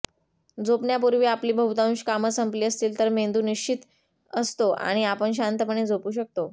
झोपण्यापूर्वी आपली बहुतांश कामं संपली असतील तर मेंदू निश्चिंत असतो आणि आपण शांतपणे झोपू शकतो